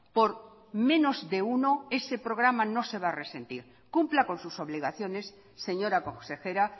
por menos de uno ese programa no se va a resentir cumpla con sus obligaciones señora consejera